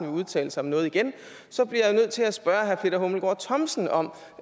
udtale sig om noget igen bliver jeg nødt til at spørge herre peter hummelgaard thomsen om